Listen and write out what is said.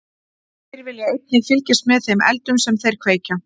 Þeir vilja einnig fylgjast með þeim eldum sem þeir kveikja.